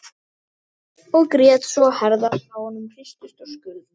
Og grét svo að herðarnar á honum hristust og skulfu.